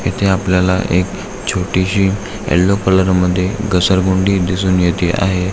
इथे आपल्याला एक छोटीशी यल्लो कलर मधी घसरगुंडी दिसून येते आहे.